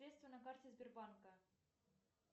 средства на карте сбербанка